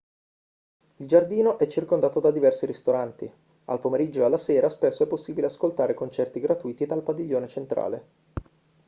il giardino è circondato da diversi ristoranti al pomeriggio e alla sera spesso è possibile ascoltare concerti gratuiti dal padiglione centrale